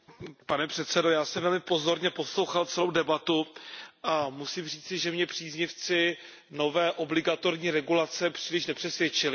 Pane předsedající, já jsem velmi pozorně poslouchal celou debatu a musím říci, že mě příznivci nové obligatorní regulace příliš nepřesvědčili.